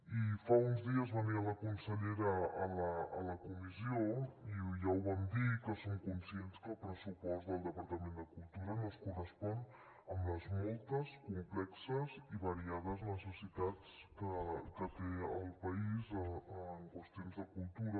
i fa uns dies venia la consellera a la comissió i ja ho vam dir que som conscients que el pressupost del departament de cultura no es correspon amb les moltes complexes i variades necessitats que té el país en qüestions de cultura